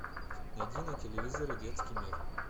найди на телевизоре детский мир